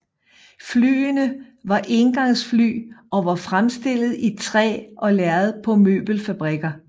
Flyene var éngangsfly og var fremstillet i træ og lærred på møbelfabrikker